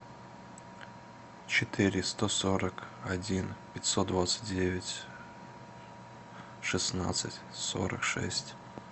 четыреста сорок один пятьсот двадцать девять шестнадцать сорок шесть